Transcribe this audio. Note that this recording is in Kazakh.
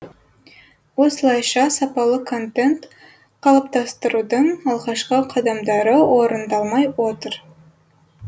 осылайша сапалы контент қалыптастырудың алғашқы қадамдары орындалмай отыр